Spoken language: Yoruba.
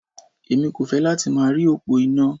Èmi kò fẹ́ láti máa rí òpó iná.